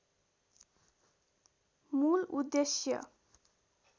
मूल उद्देश्य